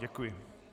Děkuji.